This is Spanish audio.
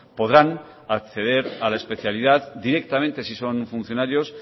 podrán acceder a la especialidad directamente si son funcionarios